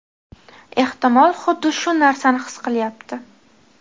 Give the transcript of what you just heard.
ehtimol "xuddi shu narsani his qilyapti".